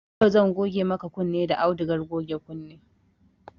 Yau zan goge maka kunne da audugar goge kunne